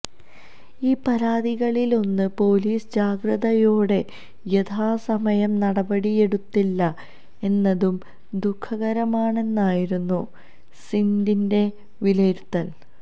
ഈ പരാതികളിലൊന്നും പോലീസ് ജാഗ്രതയോടെ യഥാസമയം നടപടിയെടുത്തില്ല എന്നതും ദുഖകരമാണെന്നായിരുന്നു സിനഡിന്റെ വിലയിരുത്തല്